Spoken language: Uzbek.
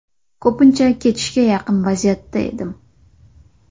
Ko‘pincha ketishga yaqin vaziyatda edim.